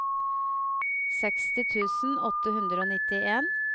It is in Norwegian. seksti tusen åtte hundre og nittien